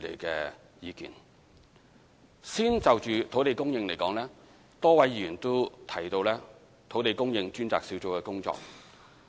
首先，就土地供應而言，多位議員都提到土地供應專責小組的工作。